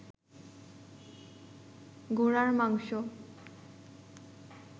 ঘোড়ার মাংস